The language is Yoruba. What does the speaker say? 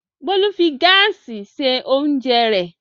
Bólú fi gáásì se oúnjẹ rẹ̀.